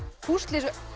púsla þessu